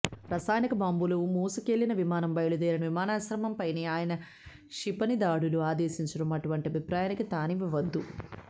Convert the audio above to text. రసాయనిక బాంబులు మోసుకెళ్లిన విమానం బయలుదేరిన విమానాశ్రయంపైనే ఆయన క్షిపణిదాడులు ఆదేశించటం అటువంటి అభిప్రాయానికి తావివ్వవచ్చు